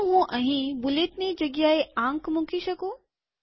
શું હું અહીં બુલેટની જગ્યા એ આંક મૂકી શકું